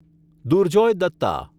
Durjoy Datta